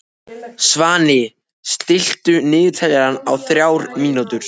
Svani, stilltu niðurteljara á þrjár mínútur.